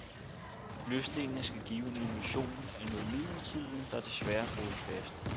Løsdelene skal give en illusion af noget midlertidigt, der desværre er groet fast.